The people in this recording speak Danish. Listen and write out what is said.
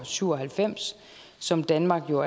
syv og halvfems som danmark jo